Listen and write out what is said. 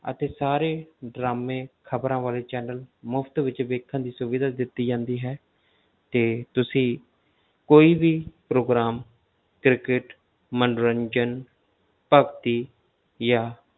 ਅਤੇ ਸਾਰੇ ਡਰਾਮੇ ਖ਼ਬਰਾਂ ਵਾਲੇ channel ਮੁਫ਼ਤ ਵਿੱਚ ਵੇਖਣ ਦੀ ਸੁਵਿਧਾ ਦਿੱਤੀ ਜਾਂਦੀ ਹੈ ਤੇ ਤੁਸੀਂ ਕੋਈ ਵੀ program ਕ੍ਰਿਕਟ ਮੰਨੋਰੰਜਨ ਭਗਤੀ ਜਾਂ